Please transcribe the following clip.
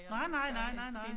Nej nej nej nej nej